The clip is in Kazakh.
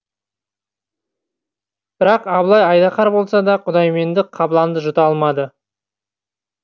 бірақ абылай айдаһар болса да құдайменді қабыланды жұта алмады